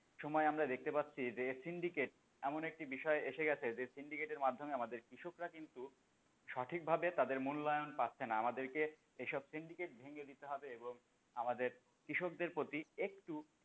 সময় আমরা দেখতে পাচ্ছি যে syndicate এমন একটি বিষয় এসে গেছে যে syndicate এর মাধ্যমে আমাদের কৃষকরা কিন্তু সঠিক ভাবে তাদের মূল্যায়ন পাচ্ছে না, আমাদেরকে এইসব syndicate ভেঙ্গে দিতে হবে এবং আমাদের কৃষকদের প্রতি একটু,